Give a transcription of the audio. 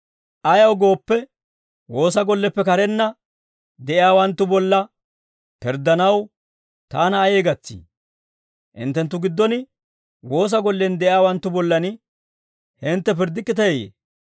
Ayaw gooppe, woosa golleppe karenna de'iyaawanttu bolla pirddanaw taana ayee gatsii? Hinttenttu giddon woosa gollen de'iyaawanttu bollan hintte pirddikkiteeyye?